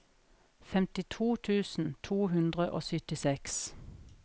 femtito tusen to hundre og syttiseks